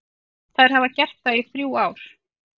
Þær hafa gert það í þrjú ár.